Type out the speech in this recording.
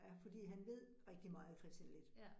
Ja, fordi han ved rigtig meget, Kristian Leth